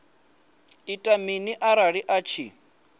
ita mini arali a tshi